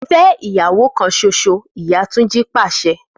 Fe iyawo kan soso! Iya Tunji pase